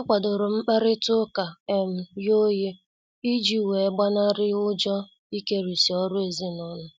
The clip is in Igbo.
A kwadorom mkparita ụka um ghe oghe iji wee gbanari ụjọ ikerisi ọrụ ezinụlọ.